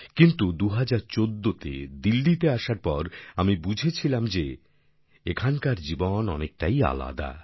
কিন্তু ২০১৪ তে দিল্লিতে আসার পর আমি বুঝেছিলাম যে এখানকার জীবন অনেকটাই আলাদা